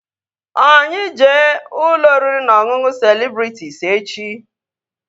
Ọ anyị jee ụlọ oriri na ọṅụṅụ Celebrịtịs echi?